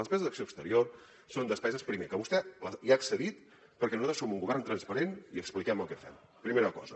les despeses d’acció exterior són despeses primer que vostè hi ha accedit perquè nosaltres som un govern transparent i expliquem el que fem primera cosa